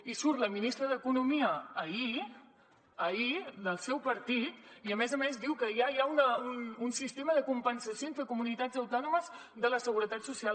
i surt la ministra d’economia ahir del seu partit i a més a més diu que ja hi ha un sistema de compensació entre comunitats autònomes de la seguretat social